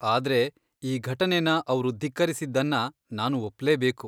ಆದ್ರೆ, ಈ ಘಟನೆನ ಅವ್ರು ಧಿಕ್ಕರಿಸಿದ್ದನ್ನ ನಾನು ಒಪ್ಲೇಬೇಕು.